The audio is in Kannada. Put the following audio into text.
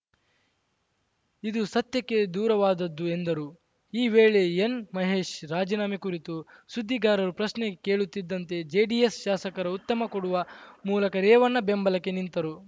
ಇದು ಸತ್ಯಕ್ಕೆ ದೂರವಾದದ್ದು ಎಂದರು ಈ ವೇಳೆ ಎನ್‌ಮಹೇಶ್‌ ರಾಜೀನಾಮೆ ಕುರಿತು ಸುದ್ದಿಗಾರರು ಪ್ರಶ್ನೆ ಕೇಳುತ್ತಿದ್ದಂತೆ ಜೆಡಿಎಸ್‌ ಶಾಸಕರು ಉತ್ತಮ ಕೊಡುವ ಮೂಲಕ ರೇವಣ್ಣ ಬೆಂಬಲಕ್ಕೆ ನಿಂತರು